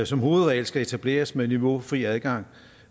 som hovedregel skal etableres med niveaufri adgang